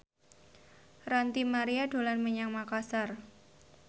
Ranty Maria dolan menyang Makasar